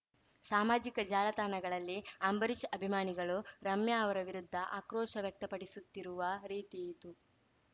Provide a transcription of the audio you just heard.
ಸಾಮಾಜಿಕ ಜಾಲತಾಣಗಳಲ್ಲಿ ಅಂಬರೀಷ್‌ ಅಭಿಮಾನಿಗಳು ರಮ್ಯಾ ಅವರ ವಿರುದ್ಧ ಆಕ್ರೋಷ ವ್ಯಕ್ತಪಡಿಸುತ್ತಿರುವ ರೀತಿಯಿದು